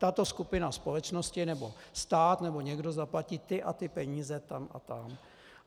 Tato skupina společnosti nebo stát nebo někdo zaplatí ty a ty peníze tam a tam.